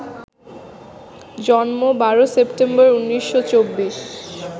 জন্ম ১২ সেপ্টেম্বর ১৯২৪